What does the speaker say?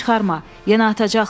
Yenə atacaqlar.